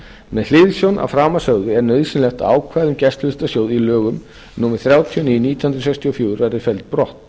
með hliðsjón af framansögðu er nauðsynlegt að ákvæði um gæsluvistarsjóð í lögum númer þrjátíu og níu nítján hundruð sextíu og fjögur verði felld brott